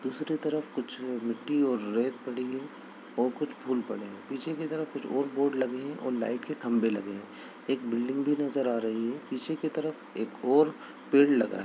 दूसरी तरफ कुछ मिट्टी और रेत पड़ी है और कुछ फूल पड़े है पीछे की तरफ कुछ और बोर्ड लगे है और लाइट के खंभे लगे है एक बिल्डिंग भी नजर आ रही है पीछे की तरफ एक और पेड़ लगा है।